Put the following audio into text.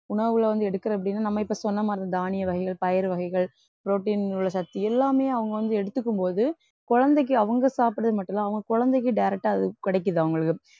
உணவுல வந்து எடுக்கறேன் அப்படின்னா நம்ம இப்ப சொன்ன மாதிரி தானிய வகைகள் பயறு வகைகள் protein உள்ள சத்து எல்லாமே அவங்க வந்து எடுத்துக்கும் போது குழந்தைக்கு அவங்க சாப்பிடுறது மட்டுமில்ல அவங்க குழந்தைக்கு direct ஆ அது கிடைக்குது அவங்களுக்கு